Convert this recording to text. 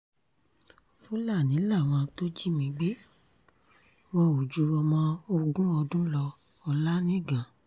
fúlàní làwọn tó jí mi gbé wọn ò ju ọmọ ogún ọdún lọ- olanigan